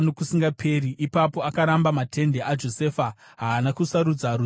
Ipapo akaramba matende aJosefa, haana kusarudza rudzi rwaEfuremu;